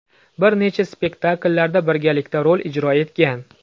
Bir necha spektakllarda birgalikda rol ijro etgan.